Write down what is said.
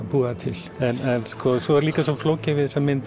búa það til en svo er líka svo flókið við þessa mynd